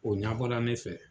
O ɲabɔla ne fɛ.